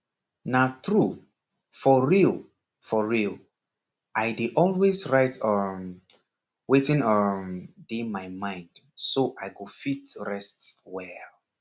na true for real for real i dey always write um wetin um dey my mind so i go fit rest well